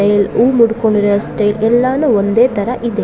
Style ಊ ಮುಡ್ಕೊಂಡಿರೋ style ಎಲ್ಲಾನು ಒಂದೇ ತರ ಇದೆ.